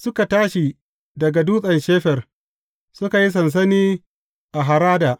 Suka tashi daga Dutsen Shefer, suka yi sansani a Harada.